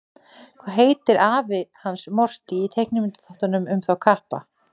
Hvað heitir afi hans Morty í teiknimyndaþáttunum um þá kappa?